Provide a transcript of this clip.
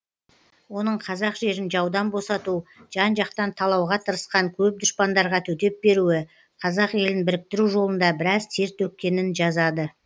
оның қазақ жерін жаудан босату жан жақтан талауға тырысқан көп дұшпандарға төтеп беруі қазақ елін біріктіру жолында біраз тер төккенін жазады